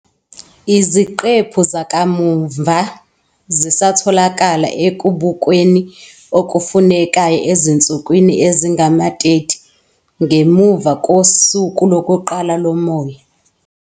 Iziqephu zakamuva zisatholakala ekubukweni okufunekayo ezinsukwini ezingama-30 ngemuva kosuku lokuqala lomoya.